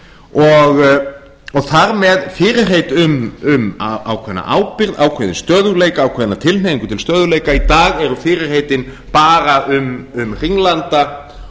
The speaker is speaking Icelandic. og þar með fyrirheit um ákveðna ábyrgð ákveðinn stöðugleika ákveðna tilhneigingu til stöðugleika í dag eru fyrirheitin bara um hringlanda